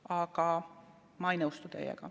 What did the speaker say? Aga ma ei nõustu teiega.